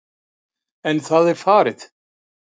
En það er farið.